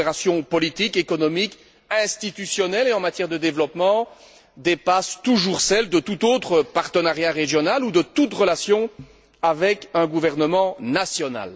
La coopération politique, économique, institutionnelle et en matière de développement dépasse toujours celle de tout autre partenariat régional ou de toute relation avec un gouvernement national.